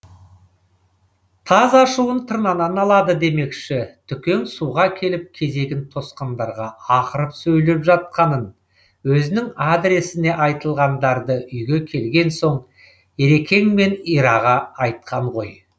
таз ашуын тырнадан алады демекші түкең суға келіп кезегін тосқандарға ақырып сөйлеп жатқанын өзінің адресіне айтылғандарды үйге келген соң ерекеңмен ираға айтқан ғой